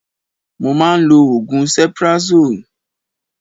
Mo máa ń lò oògùn cephrazone